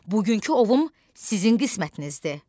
Bugünkü ovum sizin qismətinizdir.